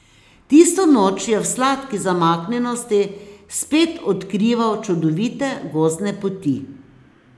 Tisto noč je v sladki zamaknjenosti spet odkrival čudovite gozdne poti.